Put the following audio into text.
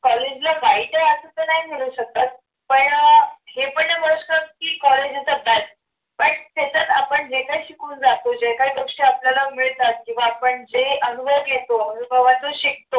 college ला जायच्या आधी त्यानं शकत पण अह हे पण नाही नाही म्हणू शकत की पण त्याच्यात आपण जे काही शिकवून जातो जे काय कक्ष आपल्याला मिळतात किंवा आपण जे अनुभव घेतो अनुभवातून शिकतो.